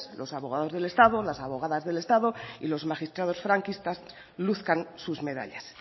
los abogados del estado las abogadas del estado y los magistrados franquistas luzcan sus medallas